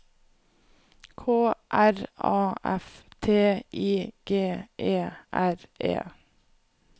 K R A F T I G E R E